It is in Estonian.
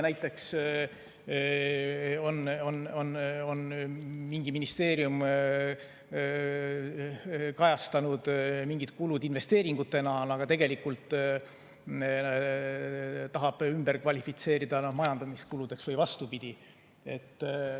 Näiteks mingi ministeerium on kajastanud mingid kulud investeeringutena, aga tegelikult tahab need ümber kvalifitseerida majandamiskuludeks või vastupidi.